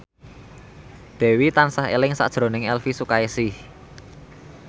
Dewi tansah eling sakjroning Elvi Sukaesih